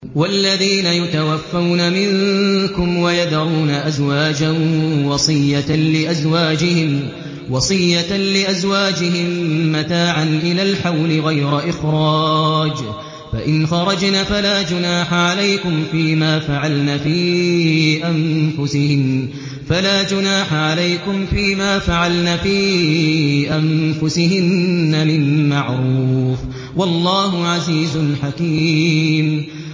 وَالَّذِينَ يُتَوَفَّوْنَ مِنكُمْ وَيَذَرُونَ أَزْوَاجًا وَصِيَّةً لِّأَزْوَاجِهِم مَّتَاعًا إِلَى الْحَوْلِ غَيْرَ إِخْرَاجٍ ۚ فَإِنْ خَرَجْنَ فَلَا جُنَاحَ عَلَيْكُمْ فِي مَا فَعَلْنَ فِي أَنفُسِهِنَّ مِن مَّعْرُوفٍ ۗ وَاللَّهُ عَزِيزٌ حَكِيمٌ